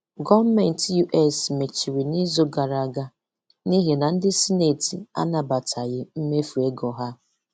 Gọọmenti US mechiri n'izu gara aga n'ihi na ndị sinetị anabataghị mmefu ego ha.